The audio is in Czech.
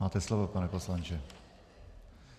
Máte slovo, pane poslanče.